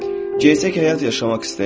Gerçək həyat yaşamaq istəyirəm.